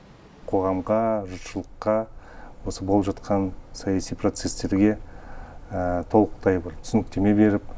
қоғамға жұртшылыққа осы болып жатқан саяси процестерге толықтай бір түсініктеме беріп